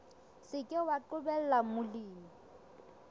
se ke wa qobella molemi